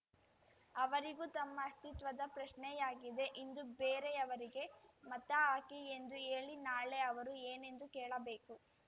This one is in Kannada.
ಅವರಿಗೂ ತಮ್ಮ ಅಸ್ಥಿತ್ವದ ಪ್ರಶ್ನೆಯಾಗಿದೆ ಇಂದು ಬೇರೆಯವರಿಗೆ ಮತಹಾಕಿ ಎಂದು ಹೇಳಿ ನಾಳೆ ಅವರು ಏನೆಂದು ಕೇಳಬೇಕು